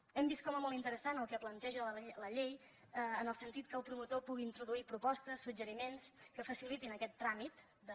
hem vist com a molt interessant el que planteja la llei en el sentit que el promotor pugui introduir propostes suggeriments que facilitin aquest tràmit de